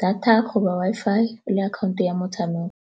data goba Wi-Fi le akhaonto ya motshameko.